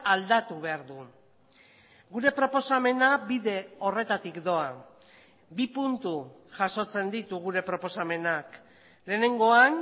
aldatu behar du gure proposamena bide horretatik doa bi puntu jasotzen ditu gure proposamenak lehenengoan